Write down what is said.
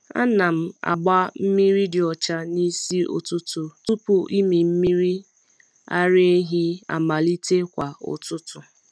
Ana m agba mmiri dị ọcha n’isi ụtụtụ tupu ịmị mmiri ara ehi amalite kwa ụtụtụ.